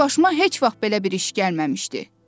Mənim başıma heç vaxt belə bir iş gəlməmişdi.